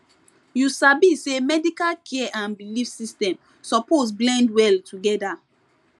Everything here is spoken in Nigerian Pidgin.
you sabi say medical care and belief system suppose blend well together